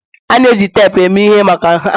A na-eji teepu eme ihe maka nha